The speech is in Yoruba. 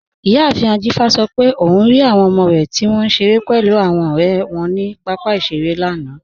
Iyàáfin Ajífa sọ̀ pé ọun rí awọn ọmọ rẹ tí wọn nṣẹ̀rẹ̀ pẹ̀lú awọn ọ̀rẹ̀ wọn ni papa iṣẹ̀rẹ̀ lánà.